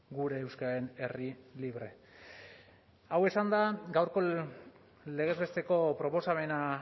gure euskararen herri libre hau esanda gaurko legez besteko proposamena